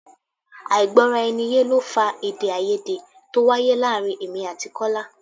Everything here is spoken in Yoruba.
Àìgbọ-rà-ẹniye ló fa èdè-áiyedé to wáyé láàárín èmi àti Kọ́lá.